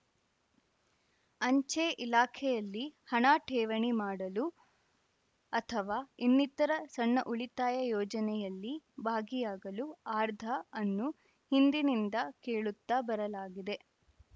ಅಂಚೆ ಇಲಾಖೆಯಲ್ಲಿ ಹಣ ಠೇವಣಿ ಮಾಡಲು ಅಥವಾ ಇನ್ನಿತರೆ ಸಣ್ಣ ಉಳಿತಾಯ ಯೋಜನೆಯಲ್ಲಿ ಭಾಗಿಯಾಗಲು ಅರ್ಧಾ ಅನ್ನು ಹಿಂದಿನಿಂದ ಕೇಳುತ್ತಾ ಬರಲಾಗಿದೆ